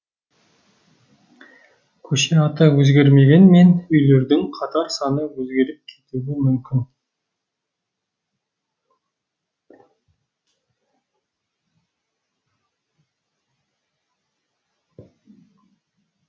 көше аты өзгермегенмен үйлердің қатар саны өзгеріп кетуі мүмкін